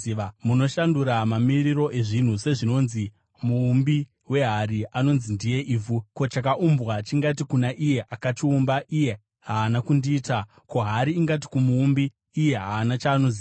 Munoshandura mamiriro ezvinhu, sezvinonzi muumbi wehari anonzi ndiye ivhu! Ko, chakaumbwa chingati kuna iye akachiumba, “Iye haana kundiita?” Ko, hari ingati kumuumbi, “Iye haana chaanoziva?”